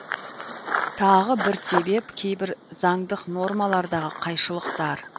тағы бір себеп кейбір заңдық нормалардағы қайшылықтар